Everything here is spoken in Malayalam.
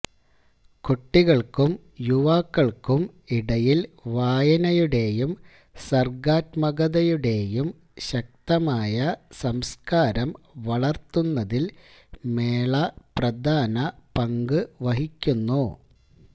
കുട്ടികൾക്കും യുവാക്കൾക്കും ഇടയിൽ വായനയുടെയും സർഗ്ഗാത്മകതയുടെയും ശക്തമായ സംസ്കാരം വളർത്തുന്നതിൽ മേള പ്രധാന പങ്ക് വഹിക്കുന്നു